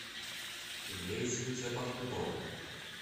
имеется ли у тебя под куполом